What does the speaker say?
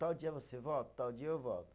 Tal dia você volta? Tal dia eu volto.